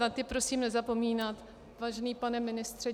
Na ty prosím nezapomínat, vážený pane ministře.